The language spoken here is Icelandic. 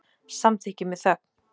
Samþykki með þögn.